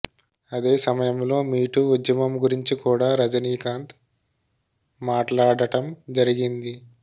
అదే సమయంలో మీటూ ఉద్యమం గురించి కూడా రజినీకాంత్ మాట్లాడటం జరిగింది